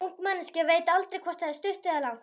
Ung manneskja veit aldrei hvort það er stutt eða langt.